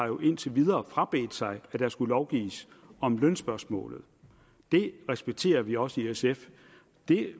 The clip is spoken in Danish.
jo indtil videre har frabedt sig at der skulle lovgives om lønspørgsmålet det respekterer vi også i sf det